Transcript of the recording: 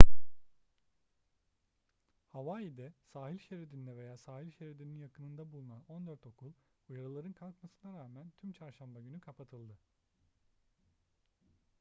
hawaii'de sahil şeridinde veya sahil şeridinin yakınında bulunan on dört okul uyarıların kalkmasına rağmen tüm çarşamba günü kapatıldı